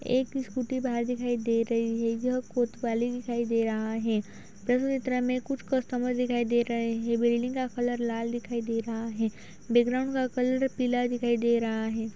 एक स्कूटी बाहर दिखाई दे रही है। यह कोतवाली दिखाई दे रहा है। कुछ कस्टमर दिखाई दे रहे हैं। बिल्डिंग का कलर लाल दिखाई दे रहा है। बैकग्राउंड का कलर पीला दिखाई दे रहा है।